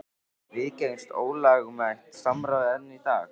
Viðgengst ólögmætt samráð enn í dag?